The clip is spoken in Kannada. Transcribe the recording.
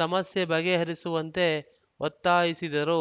ಸಮಸ್ಯೆ ಬಗೆಹರಿಸುವಂತೆ ಒತ್ತಾಯಿಸಿದರು